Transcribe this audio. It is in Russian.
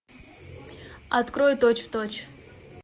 открой точь в точь